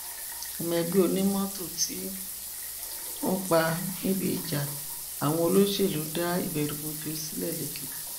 ọmọ ẹgbẹ onímọtò tí wọn pa níbi ìjà àwọn olóṣèlú dá ìbẹrùbọjọ sílẹ lékìtì